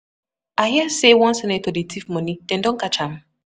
I hear say one senator dey thief money, dem don catch am?